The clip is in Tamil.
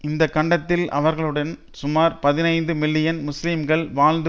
இந்த கண்டத்தில் அவர்களுடன் சுமார் பதினைந்து மில்லியன் முஸ்லீம்கள் வாழ்ந்து